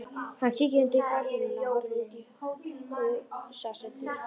Hann kíkir undir gardínuna og horfir út í húsasundið.